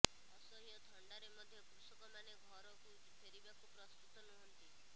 ଅସହ୍ୟ ଥଣ୍ଡାରେ ମଧ୍ୟ କୃଷକମାନେ ଘରକୁ ଫେରିବାକୁ ପ୍ରସ୍ତୁତ ନୁହଁନ୍ତି